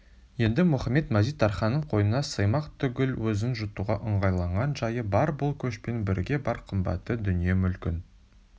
енді мұхамед-мазит-тарханның қойнына сыймақ түгіл өзін жұтуға ыңғайланған жайы бар бұл көшпен бірге бар қымбатты дүние-мүлкін